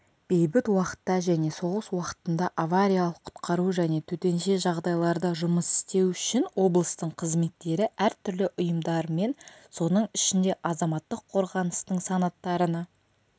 бейбіт уақытта және соғыс уақытында авариялық-құтқару және төтенше жағдайларда жұмыс істеу үшін облыстың қызметтері әртүрлі ұйымдармен соның ішінде азаматтық қорғаныстың санаттарына